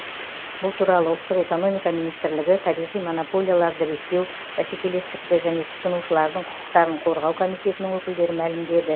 бұл туралы ұлттық экономика министрлігі табиғи монополияларды реттеу бәсекелестікті және тұтынушылардың құқықтарын қорғау комитетінің өкілдері мәлімдеді